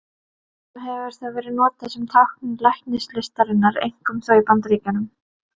Stundum hefur það verið notað sem tákn læknislistarinnar, einkum þó í Bandaríkjunum.